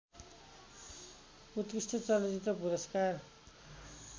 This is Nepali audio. उत्कृष्ट चलचित्र पुरस्कार